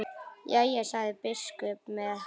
Jæja, sagði biskup með hægð.